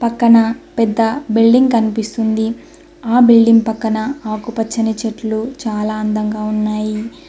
పక్కన పెద్ద బిల్డింగ్ కనిపిస్తుంది ఆ బిల్డింగ్ పక్కన ఆకుపచ్చని చెట్లు చాలా అందంగా ఉన్నాయి.